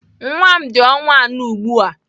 Nwa m dị ọnwa anọ ugbu a.